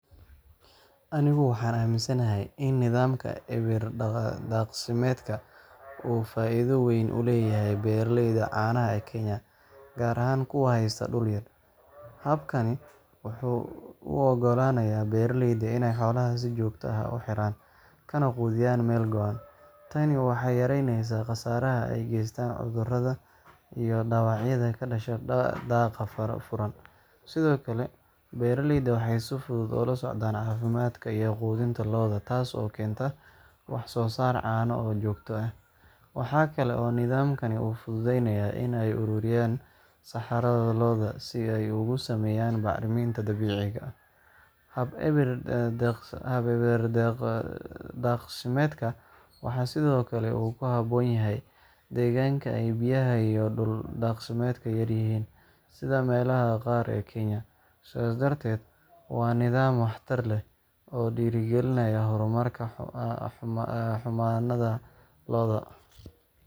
Anigu waxaan aaminsanahay in nidaamka eber-daaqsimeedka uu faa’iido weyn u leeyahay beeraleyda caanaha ee Kenya, gaar ahaan kuwa haysta dhul yar. Habkani wuxuu u oggolaanayaa beeraleyda inay xoolaha si joogto ah u xiraan, kana quudiyaan meel go’an. Tani waxay yareyneysaa khasaaraha ay geystaan cudurrada iyo dhaawacyada ka dhasha daaqa furan. Sidoo kale, beeraleydu waxay si fudud ula socdaan caafimaadka iyo quudinta lo’da, taas oo keenta wax-soo-saar caano oo joogto ah. Waxaa kale oo nidaamkani u fududeeyaa in ay ururiyaan saxarada lo’da si ay uga sameeyaan bacriminta dabiiciga ah. Habka eber-daaqsimeedka wuxuu sidoo kale ku habboon yahay deegaanka ay biyaha iyo dhul daaqsimeedka yaryihiin, sida meelaha qaar ee Kenya. Sidaas darteed, waa nidaam waxtar leh oo dhiirrigelinaya horumarka xanaanada lo’da.